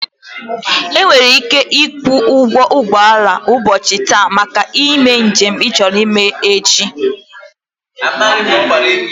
I were ike ikwu ugwo ugboala ubochi taa maka njem i choro ime echi.